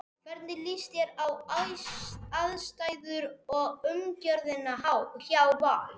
Hvernig líst þér á aðstæður og umgjörðina hjá Val?